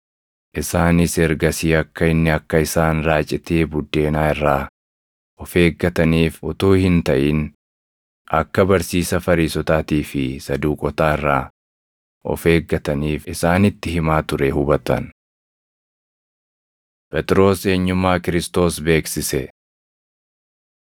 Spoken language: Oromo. Isaanis ergasii akka inni akka isaan raacitii buddeenaa irraa of eeggataniif utuu hin taʼin akka barsiisa Fariisotaatii fi Saduuqotaa irraa of eeggataniif isaanitti himaa ture hubatan. Phexros Eenyummaa Kiristoos Beeksise 16:13‑16 kwf – Mar 8:27‑29; Luq 9:18‑20